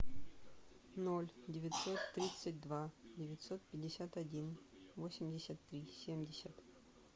ноль девятьсот тридцать два девятьсот пятьдесят один восемьдесят три семьдесят